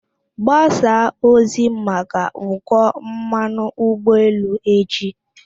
Gbasaa ozi maka ụkọ mmanụ ụgbọ elu echi.